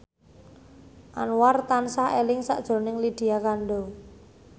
Anwar tansah eling sakjroning Lydia Kandou